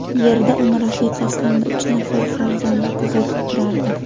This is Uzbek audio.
Yerda uni rafiqasi hamda uch nafar farzandi kuzatib turardi.